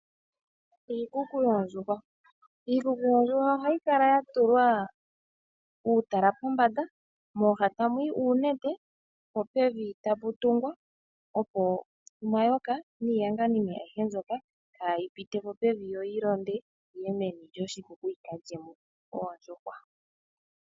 Iikuku yoondjuhwa, iikuku yoondjuhwa ohayi kala yatulwa uutala pombanda mooha tamu yi uunete po pevi tapu tungwa. Opo omayoka niiyanganime ayihe mbyoka kaayi pite po pevi yo yilonde yiye meni lyoshikuku yikalye mo oondjuhwa.